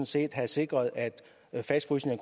set have sikret at fastfrysningen